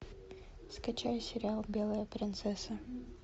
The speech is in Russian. скачай сериал белая принцесса